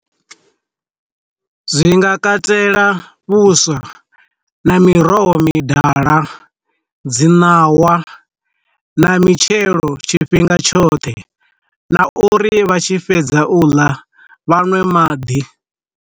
Zwi nga katela vhuswa na miroho midala, dzi ṋawa na mitshelo tshifhinga tshoṱhe na uri vha tshi fhedza u ḽa, vhaṅwe maḓi.